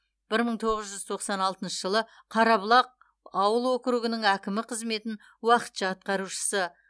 бір мың тоғыз жүз тоқсан алтыншы жылы қарабұлақ ауыл округінің әкімі қызметін уақытша атқарушысы